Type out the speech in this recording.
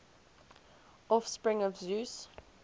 offspring of zeus